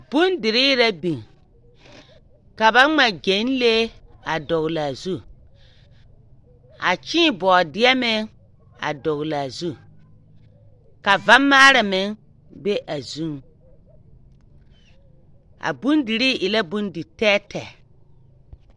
Bonderee rɛ biŋ, ka ba ŋma gyɛlee a dɔglaa zu. A kyēē bɔɔdeɛ meŋ a gɔglaa zu. Ka vamaara meŋ be a zuŋ. A bondirii e la bonditɛɛtɛ.